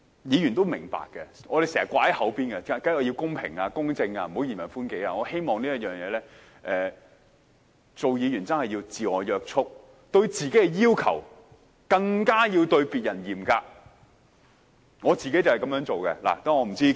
議員也明白，我們經常"掛在嘴邊"的是要公平、公正，不要嚴人寬己，我希望就這方面，議員真的要自我約束，對自己的要求要較對別人要求更嚴格。